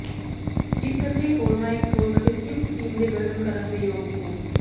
ਇਸ ਕਰਕੇ ਹੋਰ ਨਾ ਇੱਕ ਠੋਸ ਅਤੇ ਸੰਯੁਕਤ ਟੀਮ ਦੇ ਗਠਨ ਕਰਨ ਦੇ ਯੋਗ ਹੋ